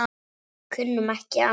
Kunnum ekki annað.